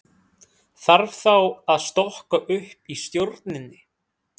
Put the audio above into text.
Þarf þá að stokka upp í stjórninni?